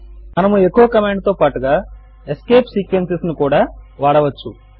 మనము echo command తో పాటుగా ఎస్కేప్ సీక్వెన్సెస్ ను కూడా వాడవచ్చు